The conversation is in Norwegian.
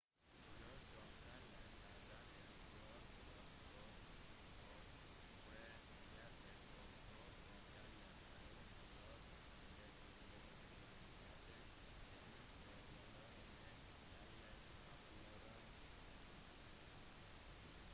rør som kalles arterier fører blod bort fra hjertet og rør som kalles årer fører det tilbake til hjertet de minste rørene kalles kapillærer